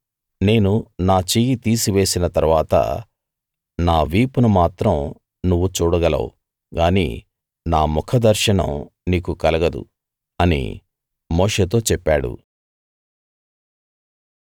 నేను నా చెయ్యి తీసివేసిన తరువాత నా వీపును మాత్రం నువ్వు చూడగలవు గానీ నా ముఖ దర్శనం నీకు కలగదు అని మోషేతో చెప్పాడు